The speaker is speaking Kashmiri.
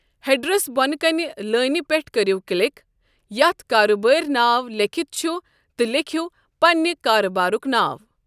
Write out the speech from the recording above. ہیڈرَس بۄنہٕ کَنہِ لٲنہٕ پٮ۪ٹھ کٔرِو کلک ییٚتٮ۪تھ 'کاربٲری ناو' لیٖکھِتھ چھُ تہٕ لیکھِو پنِنہِ کاربارُک ناو۔